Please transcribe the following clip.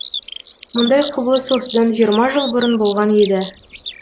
мұндай құбылыс осыдан жиырма жыл бұрын болған еді